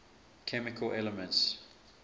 chemical elements